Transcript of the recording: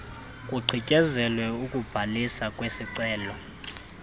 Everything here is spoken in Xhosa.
kugqityezelwe ukubhaliswa kwesicelo